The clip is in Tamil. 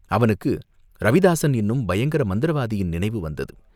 அவனுக்கு ரவிதாஸன் என்னும் பயங்கர மந்திரவாதியின் நினைவு வந்தது.